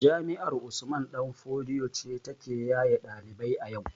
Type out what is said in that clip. Jami'ar usman ɗan fodio ce ta ke yaye ɗalibai a yau